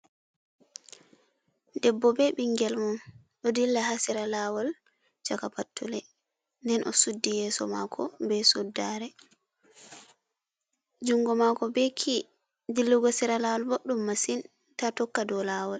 Debbo ɓe ɓingel mun do della ha sera lawol sahaka pattule den o suddi yeso maako be suddare. jungo maako be kii, dillogo sera laawol boɗɗum masin ta tokka dou laawol.